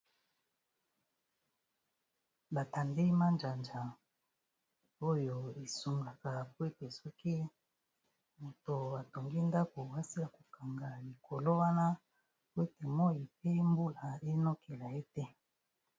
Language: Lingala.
Ba tandi majanja oyo e sungaka po ete soki moto a tongi ndako, a sila ko kanga likolo wana po ete moyi pe mbula e nokela ye te .